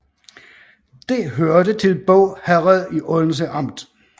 Det hørte til Båg Herred i Odense Amt